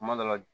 Kuma dɔ la